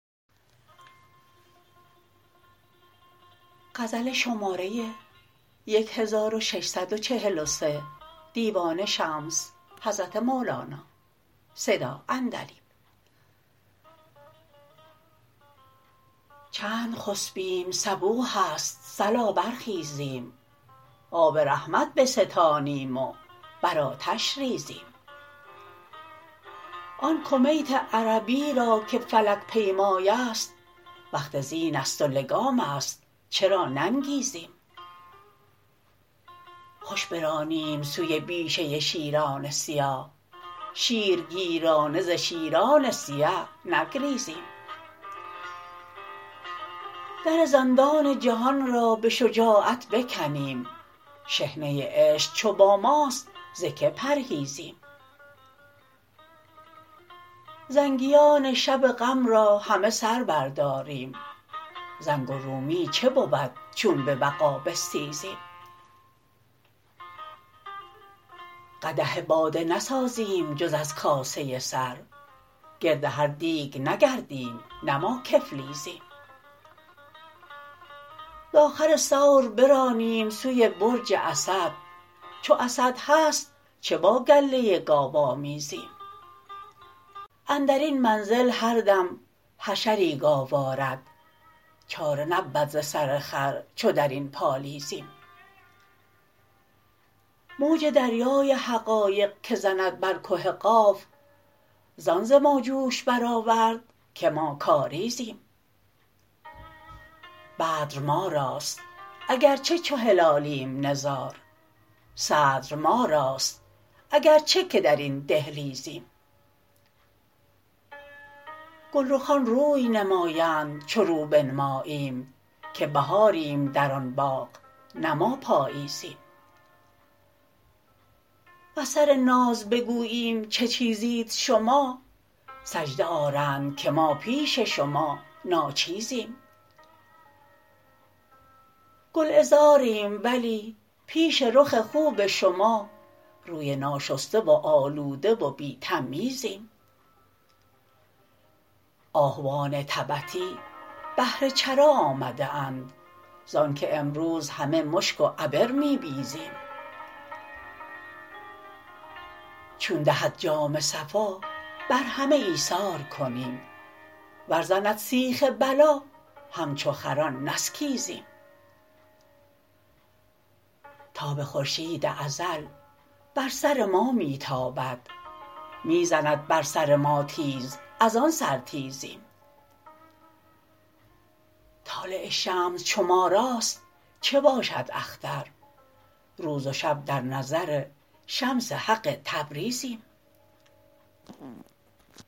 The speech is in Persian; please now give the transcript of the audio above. چند خسپیم صبوح است صلا برخیزیم آب رحمت بستانیم و بر آتش ریزیم آن کمیت عربی را که فلک پیمای است وقت زین است و لگام است چرا ننگیزیم خوش برانیم سوی بیشه شیران سیاه شیرگیرانه ز شیران سیه نگریزیم در زندان جهان را به شجاعت بکنیم شحنه عشق چو با ماست ز کی پرهیزیم زنگیان شب غم را همه سر برداریم زنگ و رومی چه بود چون به وغا بستیزیم قدح باده نسازیم جز از کاسه سر گرد هر دیگ نگردیم نه ما کفلیزیم ز آخور ثور برانیم سوی برج اسد چو اسد هست چه با گله گاو آمیزیم اندر این منزل هر دم حشری گاو آرد چاره نبود ز سر خر چو در این پالیزیم موج دریای حقایق که زند بر که قاف زان ز ما جوش برآورد که ما کاریزیم بدر ما راست اگر چه چو هلالیم نزار صدر ما راست اگر چه که در این دهلیزیم گلرخان روی نمایند چو رو بنماییم که بهاریم در آن باغ نه ما پاییزیم وز سر ناز بگوییم چه چیزید شما سجده آرند که ما پیش شما ناچیزیم گلعذاریم ولی پیش رخ خوب شما روی ناشسته و آلوده و بی تمییزیم آهوان تبتی بهر چرا آمده اند زانک امروز همه مشک و عبر می بیزیم چون دهد جام صفا بر همه ایثار کنیم ور زند سیخ بلا همچو خران نسکیزیم تاب خورشید ازل بر سر ما می تابد می زند بر سر ما تیز از آن سرتیزیم طالع شمس چو ما راست چه باشد اختر روز و شب در نظر شمس حق تبریزیم